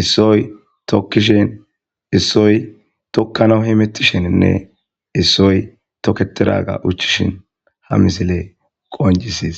issoy tokishene issoy tokanawu hametisheninne issoy toketidaga ushishe ha missile qoncises.